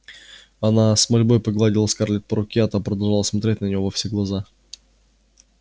она с мольбой погладила скарлетт по руке а та продолжала смотреть на нее во все глаза